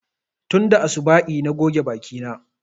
Tunda asuba'i na goge baki na